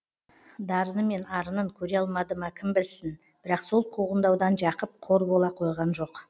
дарыны мен арынын көре алмады ма кім білсін бірақ сол қуғындаудан жақып қор бола қойған жоқ